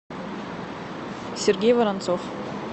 сергей воронцов